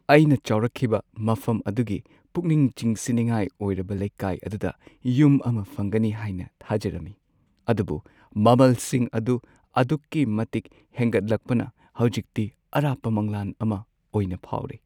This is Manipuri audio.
ꯑꯩꯅ ꯆꯥꯎꯔꯛꯈꯤꯕ ꯃꯐꯝ ꯑꯗꯨꯒꯤ ꯄꯨꯛꯅꯤꯡ ꯆꯤꯡꯁꯤꯟꯅꯤꯡꯉꯥꯏ ꯑꯣꯏꯔꯕ ꯂꯩꯀꯥꯏ ꯑꯗꯨꯗ ꯌꯨꯝ ꯑꯃ ꯐꯪꯒꯅꯤ ꯍꯥꯏꯅ ꯊꯥꯖꯔꯝꯃꯤ, ꯑꯗꯨꯕꯨ ꯃꯃꯜꯁꯤꯡ ꯑꯗꯨ ꯑꯗꯨꯛꯀꯤ ꯃꯇꯤꯛ ꯍꯦꯟꯒꯠꯂꯛꯄꯅ ꯍꯧꯖꯤꯛꯇꯤ ꯑꯔꯥꯞꯄ ꯃꯪꯂꯥꯟ ꯑꯃ ꯑꯣꯏꯅ ꯐꯥꯎꯔꯦ ꯫